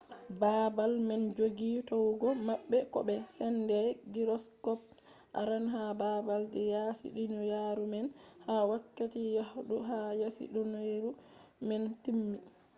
baabal man joggi towugo maɓɓe ko be sende gyroskop arande ha baabal je yaasi duniyaru man ha wakkati yahdu ha yasi duniyaru man timmi